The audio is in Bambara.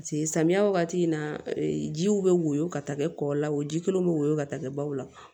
samiya wagati in na jiw bɛ woyo ka taa kɛ kɔ la o ji kelen bɛ woyɔ ka taa kɛ baw la